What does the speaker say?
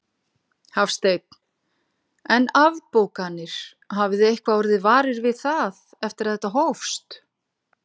Hafsteinn: En afbókanir, hafið þið eitthvað orðið varir við það eftir að þetta hófst?